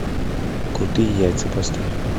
крутые яйца поставь